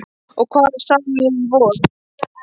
Og hvað sá ég í vor?